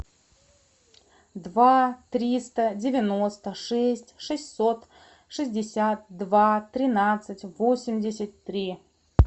два триста девяносто шесть шестьсот шестьдесят два тринадцать восемьдесят три